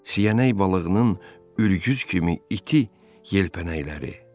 Siyənək balığının ülgüz kimi iti yelpənəkləri.